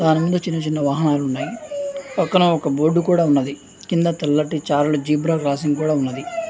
చిన్న చిన్న వాహనాలు ఉన్నాయి పక్కన ఒక బోర్డు కూడా ఉన్నది కింద తెల్లటి చారలు జీబ్రా క్రాసింగ్ కూడా ఉన్నది .